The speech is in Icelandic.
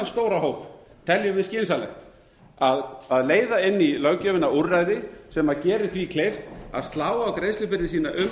stóra hóp teljum við skynsamlegt að leiða inn í löggjöfina úrræði sem gerir því kleift að slá á greiðslubyrði sína um